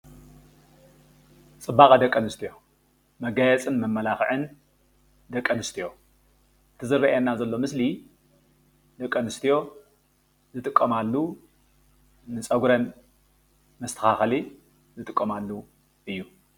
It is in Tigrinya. ፅባቐ ደቂ ኣንስትዮ መጋየፂን መመላኽዕን ደቂ አንስትዮ እቲ ዝረአየና ዘሎ ምስሊ ደቂ አንስትዮ ዝጥቀማሉ ፀጉረን መስተኻኸሊ ዝጥቀማሉ እዪ።